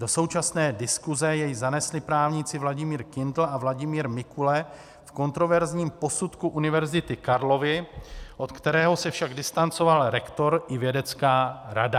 Do současné diskuse jej zanesli právníci Vladimír Kindl a Vladimír Mikule v kontroverzním posudku Univerzity Karlovy, od kterého se však distancoval rektor i vědecká rada.